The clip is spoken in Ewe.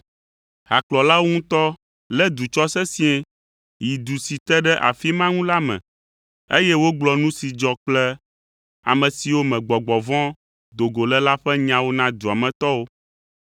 Hakplɔlawo ŋutɔ lé du tsɔ sesĩe yi du si te ɖe afi ma ŋu la me, eye wogblɔ nu si dzɔ kple ame siwo me gbɔgbɔ vɔ̃ do go le la ƒe nyawo na dua me tɔwo.